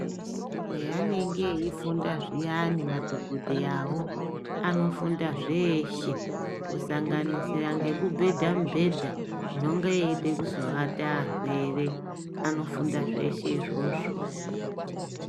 Haanenge eifunda zviyani madhokodheya wo anofunda zveshe kusanganisira nekubhedha mibhedha inenge yeida kuata arwere anofunda zveshe izvozvo